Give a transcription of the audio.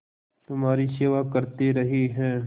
तुम्हारी सेवा करते रहे हैं